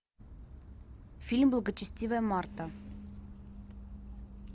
фильм благочестивая марта